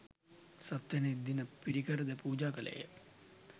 සත්වැනි දින පිරිකර ද පූජා කළේ ය.